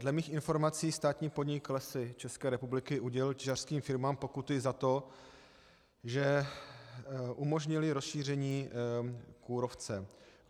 Dle mých informací státní podnik Lesy České republiky udělil těžařským firmám pokuty za to, že umožnily rozšíření kůrovce.